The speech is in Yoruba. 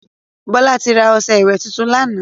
Bọ́lá ti ra ọṣẹ́ ìwè tuntun lánàá.